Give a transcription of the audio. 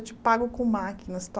Eu te pago com máquinas, tá?